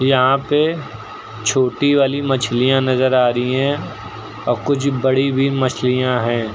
यहां पे छोटी वाली मछलियां नजर आ रही हैं और कुछ बड़ी भी मछलियां हैं।